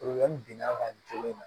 binna ka nin kɛ ne na